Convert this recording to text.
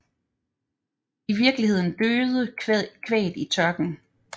I virkeligheden døde kvæget i tørken